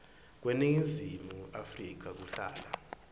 kweningizimu afrika kuhlala